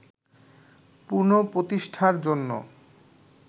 পুনঃপ্রতিষ্ঠার জন্য